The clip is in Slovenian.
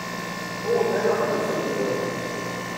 O, tega pa nisem vedela.